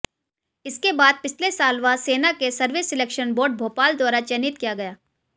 इसके बाद पिछले साल वह सेना के सर्विस सिलेक्शन बोर्ड भोपाल द्वारा चयनित किया गया